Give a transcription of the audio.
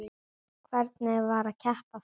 Hvernig var að keppa aftur?